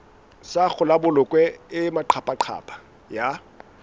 sa kgolabolokwe e maqaphaqapha ya